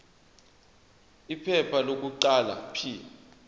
iphepha lokuqala p